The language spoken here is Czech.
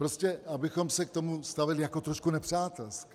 Prostě abychom se k tomu stavěli jako trošku nepřátelsky.